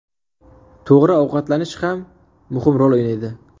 To‘g‘ri ovqatlanish ham muhim rol o‘ynaydi.